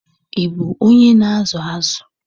Ị bụ onye na-azụ zụ?